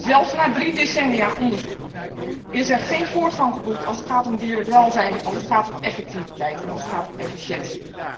Zelfs na drie decennia onderzoek is er geen voortgang geboekt, als het gaat om dierenwelzijn, als het gaat om effectiviteit en als het gaat om efficiëntie.